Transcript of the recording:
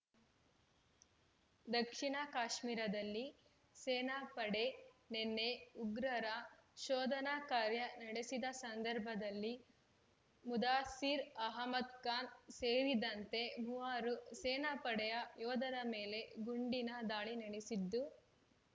ದಕ್ಷಿಣ ಕಾಶ್ಮೀರಾದಲ್ಲಿ ಸೇನಾ ಪಡೆ ನೆನ್ನೆ ಉಗ್ರರ ಶೋಧನಾ ಕಾರ್ಯ ನಡೆಸಿದ ಸಂದರ್ಭದಲ್ಲಿ ಮುದಾಸಿರ್ ಅಹಮದ್ ಖಾನ್ ಸೇರಿದಂತೆ ಮೂವರು ಸೇನಾ ಪಡೆಯ ಯೋಧರ ಮೇಲೆ ಗುಂಡಿನ ದಾಳಿ ನಡೆಸಿದ್ದು